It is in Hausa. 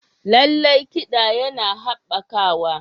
Lallai, kiɗa yana haɓakawa.